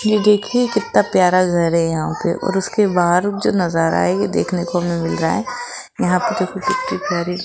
यह देखिए कित्ता प्यारा घर है यहां पे और उसके बाहर उज्ज नजारा है ये देखने को मिल रहा है यहां पे देखो कित्ते प्यारे --